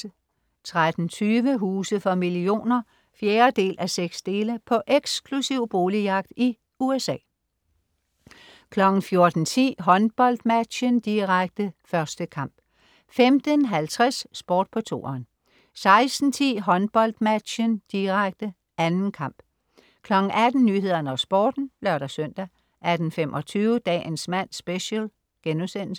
13.20 Huse for millioner 4:6. På eksklusiv boligjagt i USA 14.10 HåndboldMatchen, direkte. 1. kamp 15.50 Sport på 2'eren 16.10 HåndboldMatchen, direkte. 2. kamp 18.00 Nyhederne og Sporten (lør-søn) 18.25 Dagens mand Special*